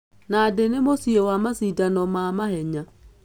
Nandi nĩ mũciĩ kwa macindano ma mahenya.